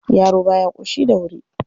Yaro ba ya ƙoshi da wuri..